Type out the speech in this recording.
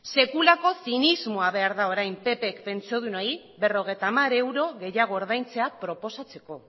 sekulako zinismoa behar da orain ppk pentsiodunei berrogeita hamar euro gehiago ordaintzea proposatzeko